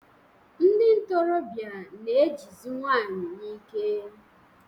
Ndị nkorobịa na-ejizi nwanyị n'ike.